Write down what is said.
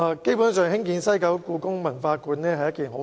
基本上，興建故宮館是一件好事。